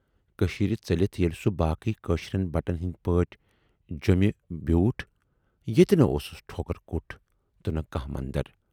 کٔشیٖرِ ژٔلِتھ ییلہِ سُہ باقٕے کٲشرٮ۪ن بٹَن ہٕندۍ پٲٹھۍ جیمہِ بِیوٗٹھ ، ییتہِ نہٕ اوسُس ٹھوکُرکُٹ تہٕ نہٕ کانہہ مَندر۔